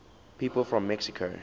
people from mexico city